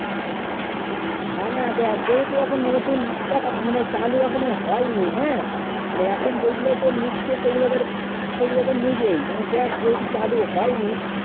না না যেও তো এখন নতুন restart মানে চালু এখন হয়ে নি হেঁ মানে এখন যে গুলু কে নিচ্ছে সেই গুলু কে ধর সেই গুলু তো নিবে ই মানে দেখ যে উঁচু চালু হয়ে নি